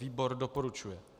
Výbor doporučuje.